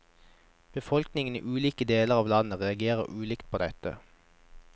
Befolkningen i ulike deler av landet reagerte ulikt på dette.